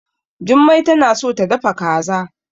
Jummai tana so ta dafa kaza.